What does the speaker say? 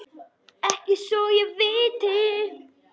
Ekki svo ég viti.